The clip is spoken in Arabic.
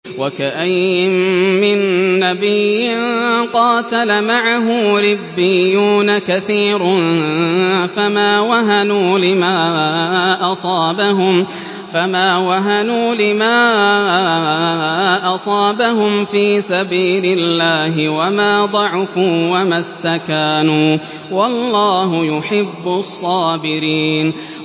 وَكَأَيِّن مِّن نَّبِيٍّ قَاتَلَ مَعَهُ رِبِّيُّونَ كَثِيرٌ فَمَا وَهَنُوا لِمَا أَصَابَهُمْ فِي سَبِيلِ اللَّهِ وَمَا ضَعُفُوا وَمَا اسْتَكَانُوا ۗ وَاللَّهُ يُحِبُّ الصَّابِرِينَ